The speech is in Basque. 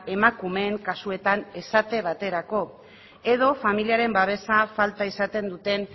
emakumeen kasuetan esate baterako edo familiaren babesa falta izaten duten